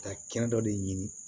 Ka kɛnɛ dɔ de ɲini